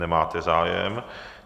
Nemáte zájem.